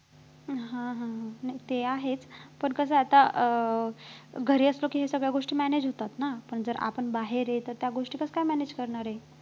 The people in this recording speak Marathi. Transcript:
हा हा हा पण ते आहेच पण कसं आता अं घरी असलो कि ह्या सगळ्या गोष्टी manage होतात ना पण जर आपण बाहेर येतो तर ह्या गोष्टी कसं काय manage करणार आहे